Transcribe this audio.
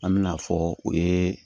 An me na fɔ u ye